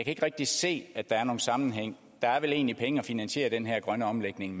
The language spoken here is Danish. ikke rigtig se at der er nogen sammenhæng der er vel egentlig penge at finansiere den her grønne omlægning